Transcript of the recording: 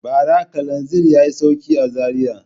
Bara kalanzir ya yi sauƙi a Zariya.